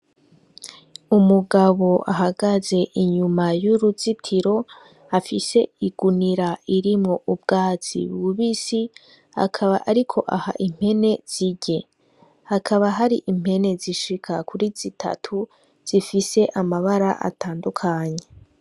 Umugabo ahagaze inyuma y' uruzitiro afise igunira irimwo ubwatsi bubisi akaba ariko aha impene zirye, hakaba hari impene zishika kuri zitatu zifise amabara atandukanye.